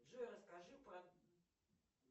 джой расскажи про